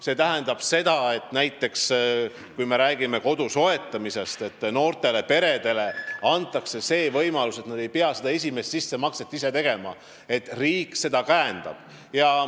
See tähendab seda, et kui me räägime kodu soetamisest, siis noortele peredele antakse võimalus esimest sissemakset ise mitte teha, vaid riik käendab seda.